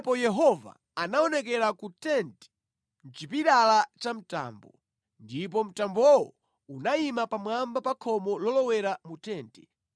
Pamenepo Yehova anaonekera ku tenti mʼchipilala cha mtambo, ndipo mtambowo unayima pamwamba pa khomo lolowera mu tenti.